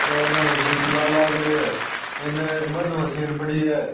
बो इन मशीन चलान लाग रियो है इनने एक बंद मशीन पड़ी है।